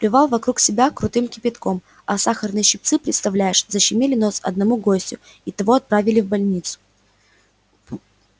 плевал вокруг себя крутым кипятком а сахарные щипцы представляешь защемили нос одному гостю и того отправили в больницу